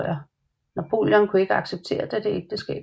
Napoleon kunne ikke acceptere dette ægteskab